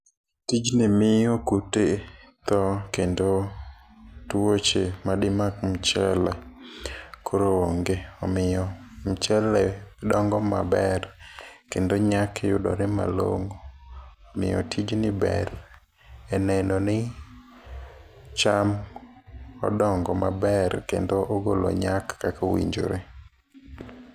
Tijni miyo kute tho kendo tuoche madi mak mchele koro onge. Omiyo mchele dongo maber kendo nyak yudore malong'o. Omiyo tijni ber e neno ni cham odongo maber kendo ogolo nyak kako winjore.